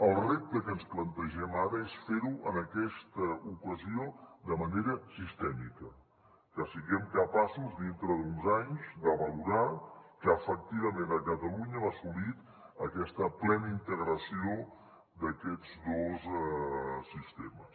el repte que ens plantegem ara és fer ho en aquesta ocasió de manera sistèmica que siguem capaços dintre d’uns anys de valorar que efectivament a catalunya hem assolit aquesta plena integració d’aquests dos sistemes